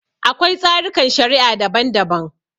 Akwai tsarikan shari'a daban-daban.